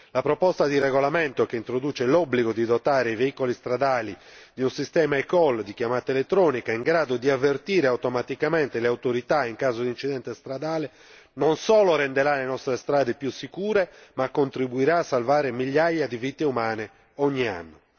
La proposta di regolamento che introduce l'obbligo di dotare i veicoli stradali di un sistema eCall di chiamata elettronica, in grado di avvertire automaticamente le autorità in caso di incidente stradale, non solo renderà le nostre strade più sicure ma contribuirà a salvare migliaia di vite umane ogni anno.